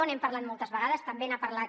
n’hem parlat moltes vegades també n’ha parlat